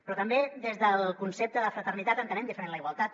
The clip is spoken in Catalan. però també des del concepte de fraternitat entenem diferent la igualtat